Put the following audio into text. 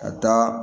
Ka taa